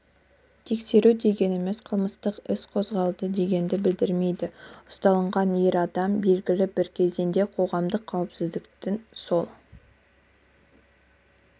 тексеру дегеніміз қылмыстық іс қозғалды дегенді білдірмейді ұсталған ер адам белгілі бір кезеңде қоғамдық қауіпсіздіктің сол